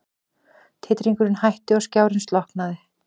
Titringurinn hætti og skjárinn slokknaði.